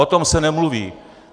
O tom se nemluví.